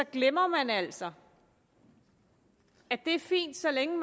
glemmer man altså at det er fint så længe